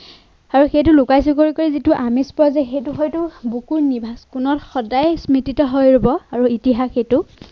আৰু সেইটো লুকাই চুৰ কৰি কৰি যিটো আমেজ পোৱা যায় সেইটো হয়তো বুকুৰ নিভাজ কোণত সদায়েই স্মৃতিত হৈ ৰব আৰু ইতিহাস সেইটো